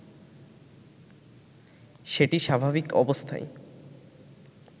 সেটি স্বাভাবিক অবস্থায়